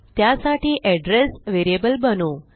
त्यासाठी address variable बनवू